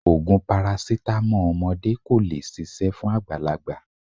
Ògùn parasítámọ̀ ọmọdé kò lè ṣiṣẹ̀ fún àgbàlagbà.